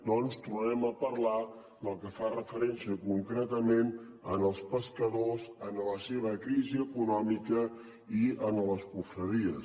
doncs tornarem a parlar del que fa referència concretament als pescadors la seva crisi econòmica i les confraries